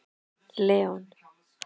Leon